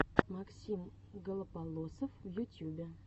максим голополосов в ютюбе